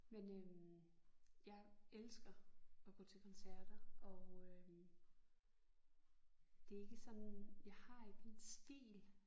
Men øh jeg elsker at gå til koncerter og det er ikke sådan jeg har ikke en stil